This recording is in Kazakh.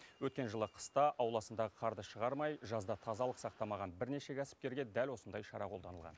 өткен жылы қыста ауласындағы қарды шығармай жазда тазалық сақтамаған бірнеше кәсіпкерге дәл осындай шара қолданылған